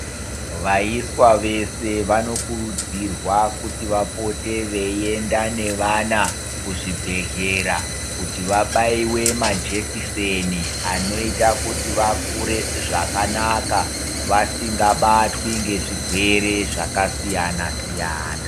Vaiswa vese vanokurudzirwa kuti vapote veienda nevana kuzvibhedhlera kuti vabaiwe majekiseni anoita kuti vakure zvakanaka vasingabatwi ngezvirwere zvakasiyna-siyana.